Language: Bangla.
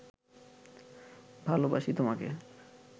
ভালবাসি তোমাকে